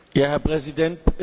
Herr Präsident!